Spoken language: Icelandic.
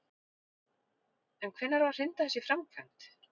En hvenær á að hrinda þessu í framkvæmd?